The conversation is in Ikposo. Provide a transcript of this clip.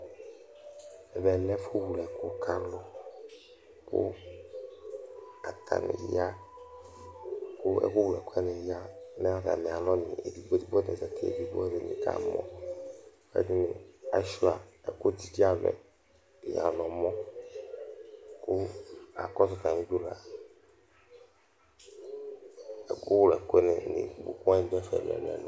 Ɛvɛ lɛ ɛfʋwlɛkʋ ka alu, kʋ ɛkʋwlɛkʋ wani ya nʋ atamialɔ edigbo nʋ edigbo, atadza keke edigbo Alu ɛdɩnɩ kamɔ, kʋ ɛdɩnɩ ashʋa ɛkʋdzidzealu yɛ nʋ ɛmɔ, kʋ akɔsʋ atamidu ɛkʋ wani du ɛfɛ ɛlʋ ɛlʋ